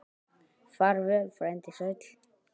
Far vel, frændi sæll.